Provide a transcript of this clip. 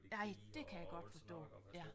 Nej det kan jeg godt forstå ja